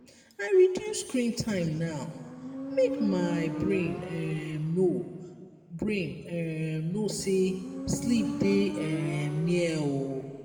i reduce screen time now make my brain um know brain um know say sleep dey um near. um